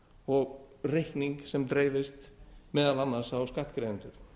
og reikning sem dreifist meðal annars á skattgreiðendur